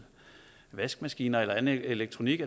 vaskemaskiner eller andet elektronik